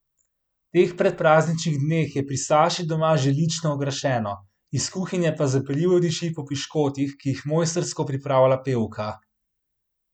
V teh predprazničnih dneh je pri Saši doma že lično okrašeno, iz kuhinje pa zapeljivo diši po piškotih, ki jih mojstrsko pripravlja pevka.